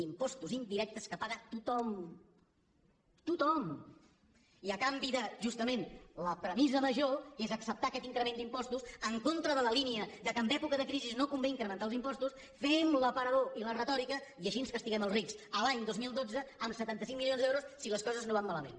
impostos indirectes que paga tothom tothom i a canvi de justament la premissa major que és acceptar aquest increment d’impostos en contra de la línia que en època de crisi no convé incrementar els impostos fem l’aparador i la retòrica i així castiguem els rics l’any dos mil dotze amb setanta cinc milions d’euros si les coses no van malament